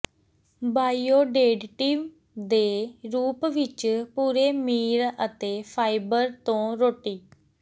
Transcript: ਬਾਈਓਡੇਡੀਟਿਵ ਦੇ ਰੂਪ ਵਿਚ ਪੂਰੇ ਮੀਲ ਅਤੇ ਫਾਈਬਰ ਤੋਂ ਰੋਟੀ